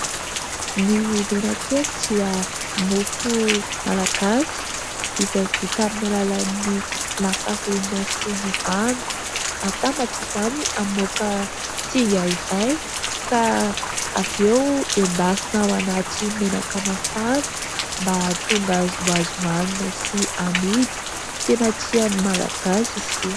Ny menakely dia mofo malagasy izay vita amin'ny alalan'ny lafarinina sy ny rano, atambatra izany hamoaka singa iray ka avy eo endasina ao anaty menaka mafana mba ahatonga azy ho azo ohanina sy amidy. Tena tian'ny Malagasy izy io.